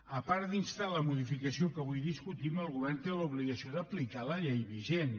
a part d’instar la modificació que avui discutim el govern té l’obligació d’aplicar la llei vigent